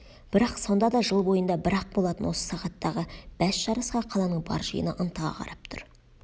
бірақ сонда да жыл бойында бір-ақ болатын осы сағаттағы бәс жарысқа қаланың бар жиыны ынтыға қарап тұр